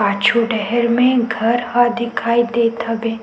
पांचो डैहर में घर ह दिखाई देत हबे।